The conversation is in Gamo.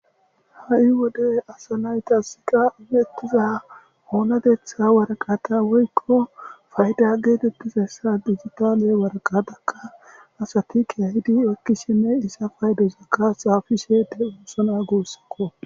ha7i wodey asanaytaska imettiza oonatetha waraqata woykko fayda geetettizassa digitaale waraqadakka asati ke hidi ekkisshinne isa faydesakka xaafishede uosana guossakko